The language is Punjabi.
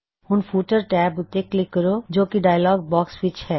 ਹੁਣ ਫੁਟਰ ਟੈਬ ਉੱਤੇ ਕਲਿੱਕ ਕਰੋ ਜੋ ਕੀ ਡਾਇਅਲੌਗ ਬਾਕਸ ਵਿੱਚ ਹੈ